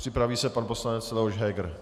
Připraví se pan poslanec Leoš Heger.